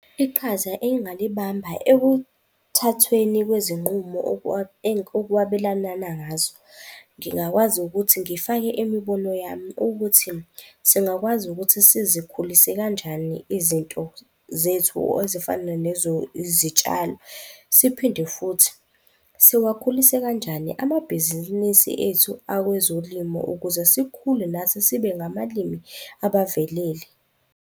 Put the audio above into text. Iqhaza engingalibamba ekuthathweni kwezinqumo okwabelalana ngazo. Ngingakwazi ukuthi ngifake imibono yami ukuthi singakwazi ukuthi sizikhulise kanjani izinto zethu ezifana izitshalo. Siphinde futhi siwakhulise kanjani amabhizinisi ethu awezolimo ukuze sikhule nathi sibe abavelele.